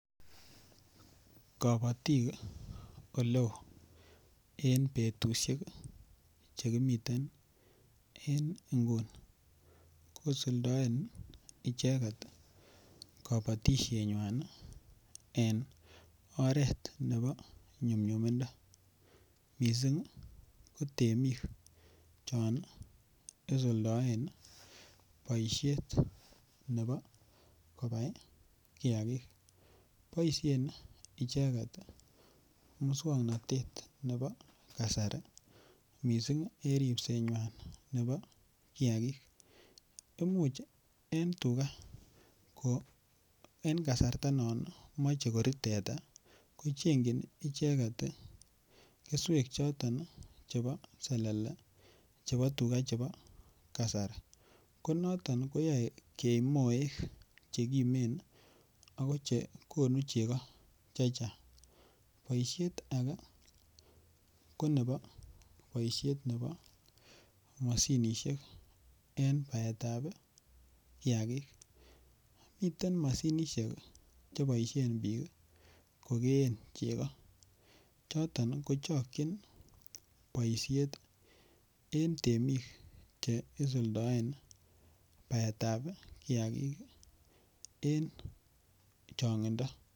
Kabatik oleo en betusiek Che kimiten en nguni kosuldaen icheget kabatisienywan en oret nebo nyumnyumindo mising ko temik chon isuldaen boisiet nebo kobai kiagik boisien icheget moswoknatet nebo kasari mising en ripsenywa nebo kiagik Imuch ko en kasarta non moche kori teta ko chengchin icheget keswek chebo selele chebo tuga chebo kasari ko noton koyoe kei moek Che kimen ako Che konu chego chechang boisiet age ko nebo boisiet nebo mashinisiek en baetab kiagik miten mashinisiek Che boisien bik kogeen chego choton kochokyin boisiet en temik Che isuldoen baetab kiagik en chongindo